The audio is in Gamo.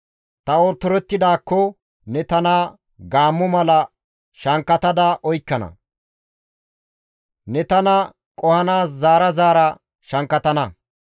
Ta otorettidaakko ne tana gaammo mala shankkatada oykkana; ne tana qohanaas zaara zaara shankkatana.